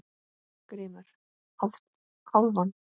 GRÍMUR: Hálfan!